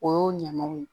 O y'o ɲamaw ye